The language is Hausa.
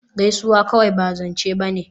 Gaisuwa kawai ba zance ba ne